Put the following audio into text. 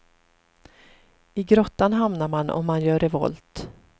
I grottan hamnar man om man gör revolt.